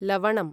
लवणम्